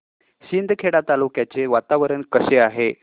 शिंदखेडा तालुक्याचे वातावरण कसे आहे